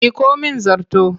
Miƙo mIn zarto!